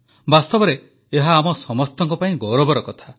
ବାସ୍ତବରେ ଏହା ଆମ ସମସ୍ତଙ୍କ ପାଇଁ ଗୌରବର କଥା